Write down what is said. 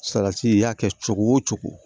Salati i y'a kɛ cogo o cogo